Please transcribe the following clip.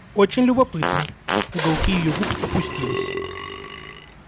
очень любопытно уголки её губ опустились